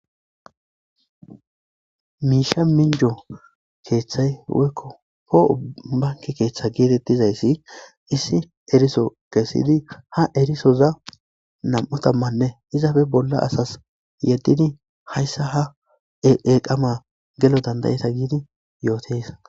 Miisha minjo keeththay woykko pooo banki keeththa geetettizayssi issi eriso kesidi ha erisoza nam7utammanne izafe bolla asas yeddidi hayssa ha eqama gelo dandayeta giidi yootes.